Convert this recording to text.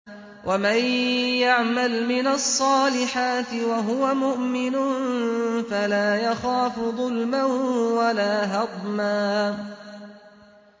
وَمَن يَعْمَلْ مِنَ الصَّالِحَاتِ وَهُوَ مُؤْمِنٌ فَلَا يَخَافُ ظُلْمًا وَلَا هَضْمًا